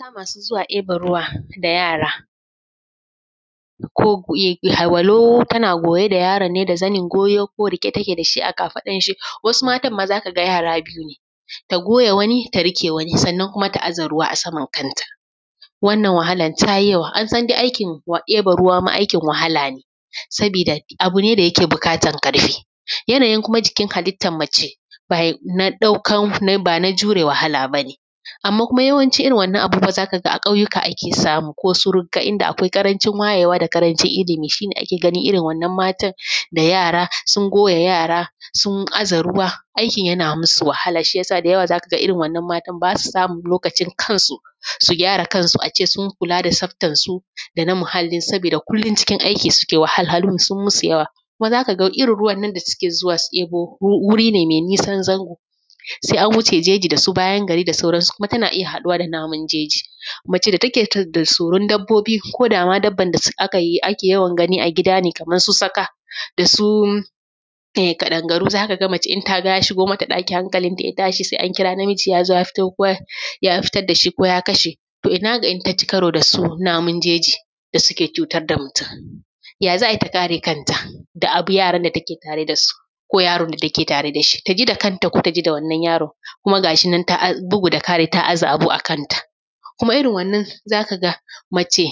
Mata masu zuwa eban ruwa da yara ko walau tana goye da yaron ne da zanin goyo ko riƙe take da shi a kafaɗar shi, wasu matan ma za ka ga yara biyu ne, ta goya wani ta riƙe wani sannan kuma ta aza ruwa a saman kanta, wannan wahalar ta yi yawa, an san dai aikin ɗeba ruwa ma aikin wahala ne, sabida abu ne da yake buƙatar ƙarfi. Yanayin kuma jikin halittar mace ba na ɗaukar ban a jure wahala bane amma kuma yawancin irin wannan abin za ka ga a ƙauyuka ake samu ko su rugga inda akwai ƙarancin wayewa da ƙarancin ilimi shine ake ganin irin wannan matan da yara sun goya yara sun aza ruwa aikin yana masu wahala shi yasa irin wannan matan basa samun lokacin kan su, su gyara kan su a ce sun kula da tsabtar su da na muhallin su sabida kullum cikin aiki suke, wahalhalu sun masu yawa. Kuma zaka ga irin wannan ruwan da suke zuwa su ɗebo wuri ne mai nisan zango sai an wuce jeji da su bayan gari da sauran su, kuma tana iya haɗuwa da namun jeji. Mace da take da tsoron dabbobi ko da ma dabban da ake yawan gani a gida ne kamar su tsaka da su ƙadangaru zaka ga mace in ta ga ya shigo mata ɗaki hankalin ta ya tashi sai an kira namiji ya zo ya fito ko ya fitar da shi ko ya kashe toh ina ga in ta ci karo da su namu jeji da suke cutar da mutum, ya za a yi ta kare kanta da abu yaran da take tare da su ko yaron da take tare da shi, ta ji da kanta ko ta ji da wannan yaro kuma gashi bugu da ƙari ta aza abu a kan ta. Kuma irin wannan zaka ga mace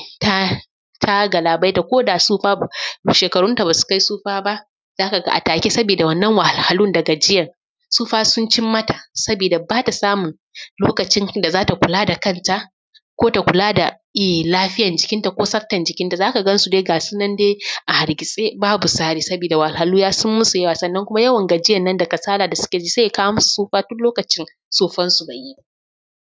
ta galabaita ko da tsufa ba shekarunta basu kai tsufa ba zaka ga a take sabida wannan wahalhalun da gajiyar tsufa sun cimmata sabida bata samun lokacin da zata kula da kanta ko ta kula da lafiyar jikin ta ko tsaftar jikin ta zaka gan su dai gasu nan dai a hargitse babu tsari sabida wahalhalu sun yi masu yawa sannan kuma yawan gajiyar nan da kasala da suke ji sai ya kawo masu tsufa tu lokacin tsufansu bai yi ba.